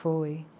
Foi.